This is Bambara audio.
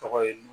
Tɔgɔ ye